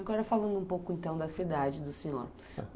Agora falando um pouco, então, da cidade do senhor. Tá bom.